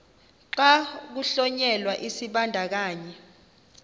xa kuhlonyelwa isibandakanyi